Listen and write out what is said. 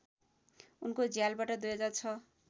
उनको झ्यालबाट २००६